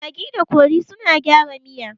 Magi da kori suna gyara miya